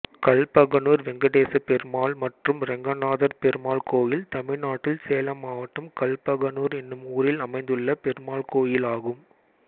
கல்பகனூர் வெங்கடேசப்பெருமாள் மற்றும் ரெங்கநாதர் பெருமாள் கோயில் தமிழ்நாட்டில் சேலம் மாவட்டம் கல்பகனூர் என்னும் ஊரில் அமைந்துள்ள பெருமாள் கோயிலாகும்